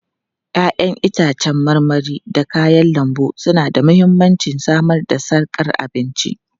Ya'yan itãcen marmari da kayan lambu suna da mahimmancin samar da sarkar abinci.